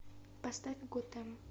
поставь готэм